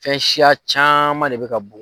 Fɛn siya caman de bɛ ka bɔ.